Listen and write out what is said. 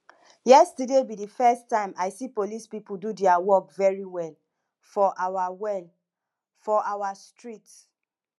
yesterday be the first time i see police people do dia work very well for our well for our street